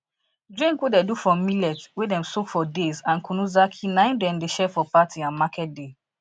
drink wey dey do from millet wey dem soak for days and kunu zaki na im dem dey share for party and market day